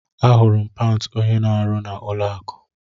Ahụrụ m pant onye na arụ na ụlọ akụ